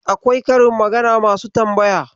Akwai karin magana masu tambaya.